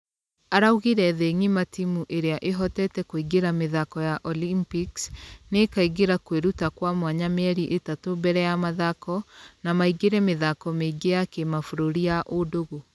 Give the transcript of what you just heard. Araugire thĩ ngima timũ iria ihotete kũingĩra mĩthako ya olumpics nĩikaingĩra kwĩrutakwamwanya mĩeri ĩtatũ mbere ya mathako na maingĩre mĩthako mĩingĩ ya kĩmabũrũri ya ũndũgũ.